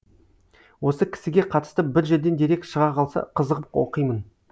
осы кісіге қатысты бір жерден дерек шыға қалса қызығып оқимын